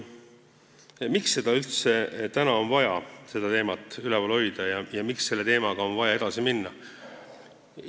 Miks üldse on vaja täna seda teemat üleval hoida ja miks selle teemaga on vaja edasi minna?